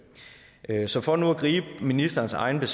så for nu at gribe ministerens egne